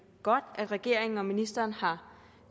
godt at regeringen og ministeren har